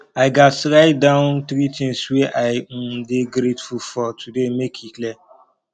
i gats write down three things wey i um dey grateful for today make e clear